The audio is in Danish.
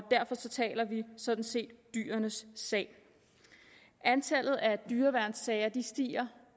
derfor taler vi sådan set dyrenes sag antallet af dyreværnssager stiger